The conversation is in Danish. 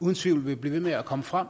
uden tvivl vil blive ved med at komme frem